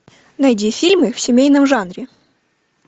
найди фильмы в семейном жанре